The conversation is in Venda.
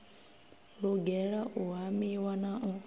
lugela u hamiwa na u